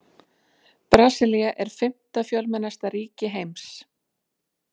Brasilía er fimmta fjölmennasta ríki heims.